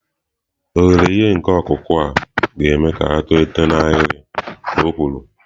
Oghere nke ihe ọkụkụ a ga-eme ka ha tolite n'ahịrị," ka o kwuru."